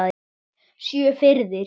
Sjö firðir!